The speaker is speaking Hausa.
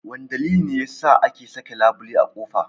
Wane dalili ne yasa ake saka labule a kofa?